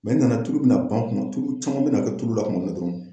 nana tulu bɛna ban kɔnɔ tulu caman bɛna kɛ tulu la tuma min na dɔrɔn